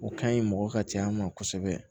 O ka ɲi mɔgɔ ka cɛya ma kosɛbɛ